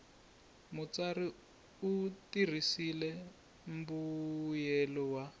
mutsari u tirhisile mbuyelelo wa